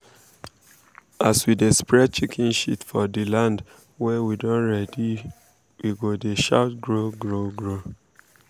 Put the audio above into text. as we dey spread chicken shit for the land wey don ready we go dey shout “grow grow grow!”